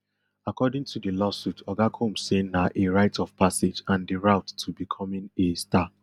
according to di lawsuit oga combs say na a rite of passage and di route to becoming a star